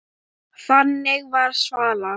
Þannig var Svala.